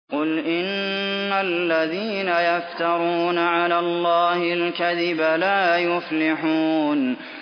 قُلْ إِنَّ الَّذِينَ يَفْتَرُونَ عَلَى اللَّهِ الْكَذِبَ لَا يُفْلِحُونَ